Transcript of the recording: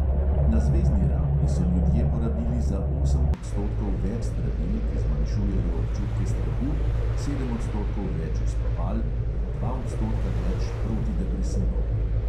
Na zvezni ravni so ljudje porabili za osem odstotkov več zdravil, ki zmanjšujejo občutke strahu, sedem odstotkov več uspaval in dva odstotka več protidepresivov.